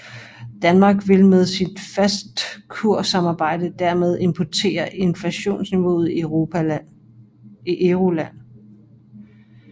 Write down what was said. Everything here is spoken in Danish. Danmark vil med sit fastkurssamarbejde dermed importere inflationsniveauet i Euroland